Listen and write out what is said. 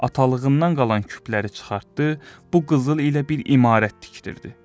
Atalığından qalan küpləri çıxartdı, bu qızıl ilə bir imarət tikdirdi.